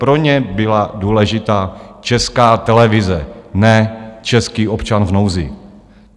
Pro ně byla důležitá Česká televize, ne český občan v nouzi.